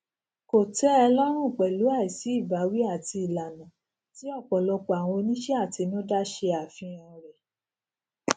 kò tẹ ẹ lọrùn pẹlú àìsí ìbáwí àti ìlànà tí ọ̀pọ̀lọpọ̀ àwọn oníṣẹàtinúdá ṣe àfihàn rẹ